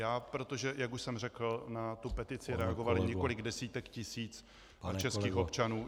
Já, protože, jak už jsem řekl, na tu petici reagovalo několik desítek tisíc českých občanů -